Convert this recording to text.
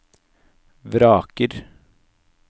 vraker